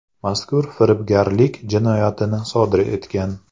mazkur firibgarlik jinoyatini sodir etgan.